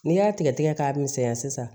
N'i y'a tigɛ tigɛ k'a misɛnya sisan